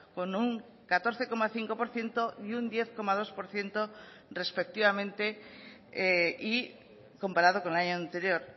con un catorce coma cinco por ciento y un diez coma dos por ciento respectivamente y comparado con el año anterior